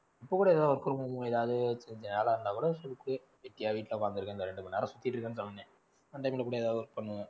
இப்போ கூட ஏதாவது work பண்ணணுமா ஏதாவது கொஞ்சம் நல்லா இருந்தா கூட it's okay வெட்டியா வீட்ல உக்காந்துட்டிருக்கற அந்த ரெண்டு மணி நேரம் சுத்திட்டிருக்கற நேரம் ஏதாவது work பண்ணுவேன்.